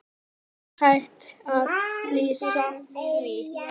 Er hægt að lýsa því?